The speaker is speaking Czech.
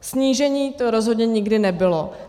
Snížení to rozhodně nikdy nebylo.